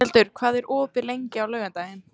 Steinhildur, hvað er opið lengi á laugardaginn?